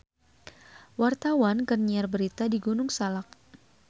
Wartawan keur nyiar berita di Gunung Salak